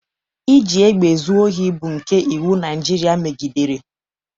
Iji egbe zuo ohi bụ nke iwu Naịjirịa megidere.